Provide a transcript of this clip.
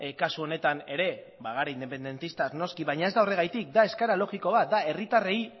kasu honetan ere bagara independentistak noski baina ez da horregatik da eskaera logiko bat da herritarrei